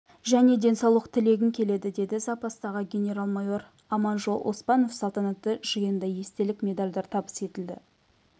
және денсаулық тілегім келеді деді запастағы генерал-майор аманжол оспанов салтанатты жиында естелік медальдар табыс етілді